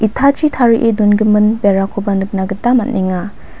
itachi tarie dongimin berakoba nikna gita man·enga.